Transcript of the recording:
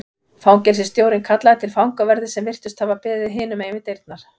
Fangelsisstjórinn kallaði til fangaverði sem virtust hafa beðið hinum megin við dyrnar.